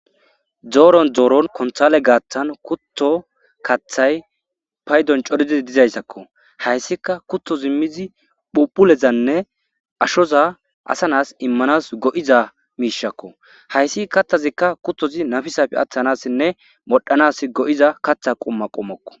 Dooron dooron konthale gaaththan kutto kathay paydon codidi dizayssakko hayssika kutho zimmizi phuphulezanne ashoza asanas immanas go'iza miishakko hayssi katthazikka kuttozi nafisafe aththanassinne modhanas go'iza katha qumma qommokko